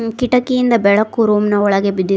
ಕಿಟಕಿಯಿಂದ ಬೆಳಕು ರೂಮ್ ನ ಒಳಗೆ ಬಿದ್ದಿ--